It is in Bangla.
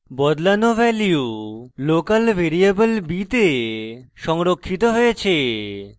বদলানো value local variable b the সংরক্ষিত হয়েছে